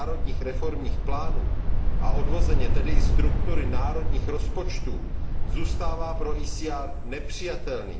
národních reformních plánů a odvozeně tedy i struktury národních rozpočtů, zůstává pro ECR nepřijatelný.